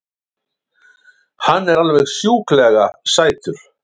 Hann er alveg sjúklega sætur!